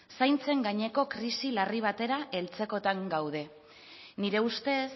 zaintzen gaineko krisi larri batera heltzekotan gaude nire ustez